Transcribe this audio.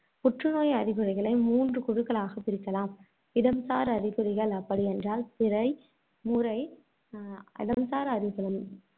புற்றுநோய் அறிகுறிகளை மூன்று குழுக்களாக பிரிக்கலாம் இடம்சார் அறிகுறிகள் அப்படியென்றால் பிறை முறை அஹ் இடம்சார்~